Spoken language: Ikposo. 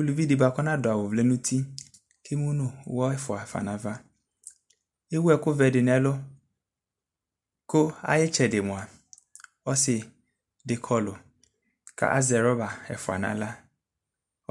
uluvi di bua kɔ na du awu vlɛ nu uti ému nu wɔ fua na ava éwu ɛku vɛdi nɛ ɛlu ku ayi tsɛdi mua ɔsi di kɔlu ka azɛ rɔba ɛfua na xlă